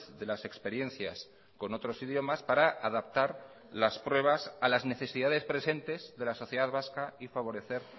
de las experiencias con otros idiomas para adaptar las pruebas a las necesidades presentes de la sociedad vasca y favorecer